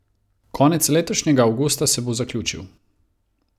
Konec letošnjega avgusta se bo zaključil.